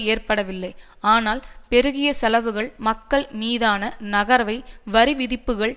ஏற்படவில்லை ஆனால் பெருகிய செலவுகள் மக்கள் மீதான நகரவை வரிவிதிப்புக்களில்